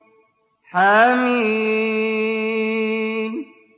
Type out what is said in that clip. حم